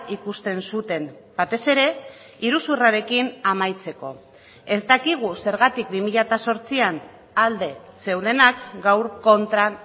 ikusten zuten batez ere iruzurrarekin amaitzeko ez dakigu zergatik bi mila zortzian alde zeudenak gaur kontra